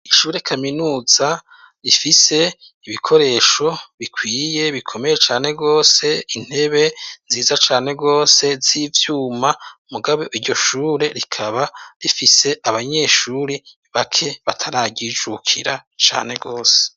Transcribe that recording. Ishure kaminuza rifise ibikoresho bikwiye bikomeye cane rwose intebe nziza cane rwose z'ivyuma mugabo iryo shure rikaba rifise abanyeshure bake batararyijukira cane wose.